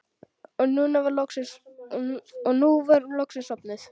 Og nú var hún loksins sofnuð.